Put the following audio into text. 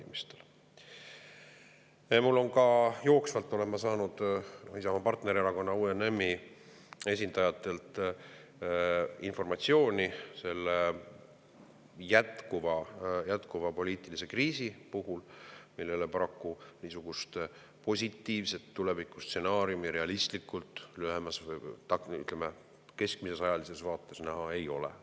Ma olen jooksvalt saanud meie partnererakonna UNM-i esindajatelt informatsiooni selle jätkuva poliitilise kriisi kohta, millele paraku niisugust positiivset tulevikustsenaariumi realistlikult lühemas või, ütleme, keskmises ajalises vaates näha ei ole.